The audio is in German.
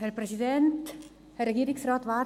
– Grossrätin Zryd, Sie haben das Wort.